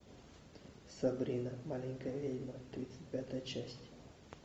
сабрина маленькая ведьма тридцать пятая часть